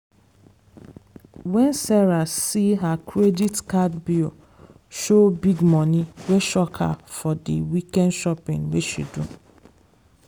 wen sarah see her credit card bill show big money wey shock her from dey weekend shopping wey she do.